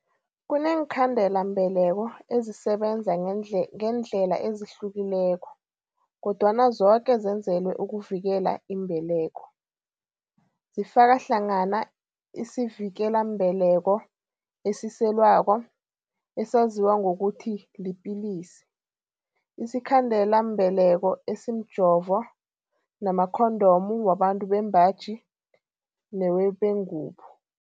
Kuneenkhandelambeleko ezisebenza ngeendlela ezihlukileko, kodwana zoke zenzelwe ukuvikela imbeleko. Zifaka hlangana isivikelambeleko esiselwako, esaziwa ngokuthi lipilisi, isikhandelambeleko esimjovo namakhondomu wabantu bembaji newebengubo.